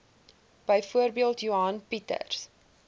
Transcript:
byvoorbeeld johan pieters